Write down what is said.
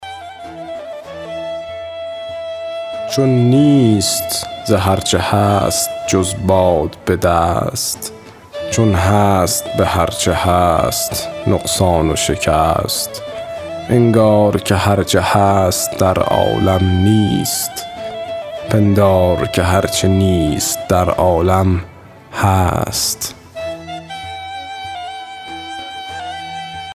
چون نیست ز هر چه هست جز باد به دست چون هست به هر چه هست نقصان و شکست انگار که هر چه هست در عالم نیست پندار که هر چه نیست در عالم هست